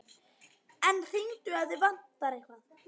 En hringdu ef þig vantar eitthvað.